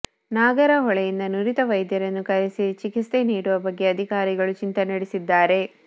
ನಾಗರಹೊಳೆಯಿಂದ ನುರಿತ ವೈದ್ಯರನ್ನು ಕರೆಸಿ ಚಿಕಿತ್ಸೆ ನೀಡುವ ಬಗ್ಗೆ ಅಧಿಕಾರಿಗಳು ಚಿಂತನೆ ನಡೆಸಿದ್ದಾರೆ